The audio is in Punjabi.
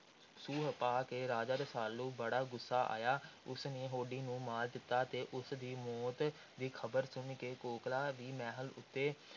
ਸੂਹ ਪਾ ਕੇ ਰਾਜਾ ਰਸਾਲੂ ਬੜਾ ਗੁੱਸਾ ਆਇਆ। ਉਸ ਨੇ ਹੋਡੀ ਨੂੰ ਮਾਰ ਦਿੱਤਾ ਤੇ ਉਸ ਦੀ ਮੌਤ ਦੀ ਖ਼ਬਰ ਸੁਣ ਕੇ ਕੋਕਲਾਂ ਵੀ ਮਹਿਲ ਉੱਤੋਂ